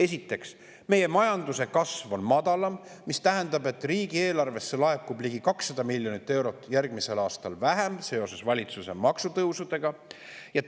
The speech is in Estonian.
Esiteks, meie majanduse kasv on madalam, mis tähendab, et riigieelarvesse laekub järgmisel aastal seoses valitsuse maksutõusudega ligi 200 miljonit eurot vähem.